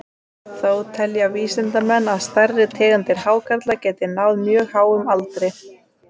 Þó telja vísindamenn að stærri tegundir hákarla geti náð mjög háum aldri.